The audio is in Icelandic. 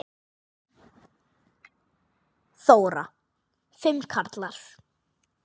Þóra: Fimm karlar?